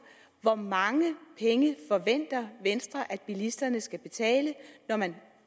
hvor mange penge venstre forventer at bilisterne skal betale når man